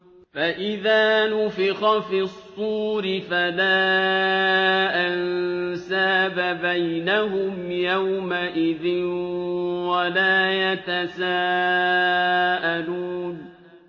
فَإِذَا نُفِخَ فِي الصُّورِ فَلَا أَنسَابَ بَيْنَهُمْ يَوْمَئِذٍ وَلَا يَتَسَاءَلُونَ